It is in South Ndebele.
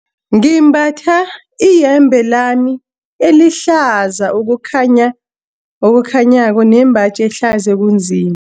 Ngimbatha iyembe lami elihlaza okukhanya, okukhanyako nembaji ehlaza okunzima.